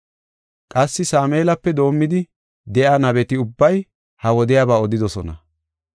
“Qassi Sameelape doomidi de7iya nabeti ubbay ha wodiyaba odidosona.